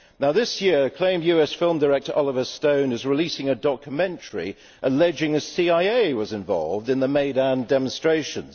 This year, acclaimed US film director Oliver Stone is releasing a documentary alleging that the CIA was involved in the Maidan demonstrations.